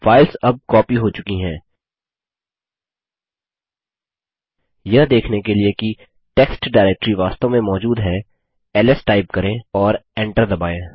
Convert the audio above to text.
files अब copy हो चुकी है यह देखने के लिए कि टेक्स्ट डाइरेक्टरी वास्तव में मौजूद हैls टाइप करें और एंटर दबायें